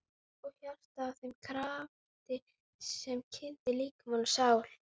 Og hjartað að þeim krafti sem kyndir líkama og sál?